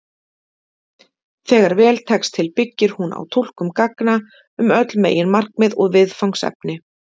Þegar vel tekst til byggir hún á túlkun gagna um öll meginmarkmið og viðfangsefni.